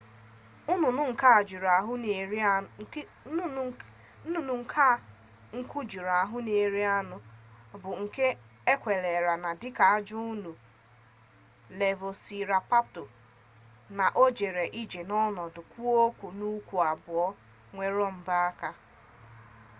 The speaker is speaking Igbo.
nnụnụ a nku juru ahụ na-eri anụ bụ nke ekweere na dika ajọ anụ velosiraptọ na o jere ije n'ọnọdụ kwụ ọtọ n'ụkwụ abụọ nwere mbọ aka